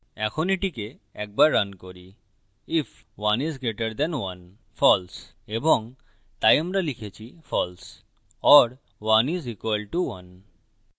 এখন এটিকে একবার রান করিif 1 is greater than 1 যদি ১ ১ এর থেকে বড় হয়false এবং তাই আমরা লিখেছি false or 1 is equal to 1 ১ ১ এর সমান হয়